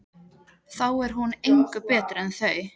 Þá er hún engu betri en þau.